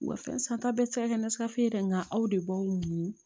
Wa fɛn san ta bɛ tɛ se ka kɛ ni sigafeere ye dɛ nka aw de b'aw muɲu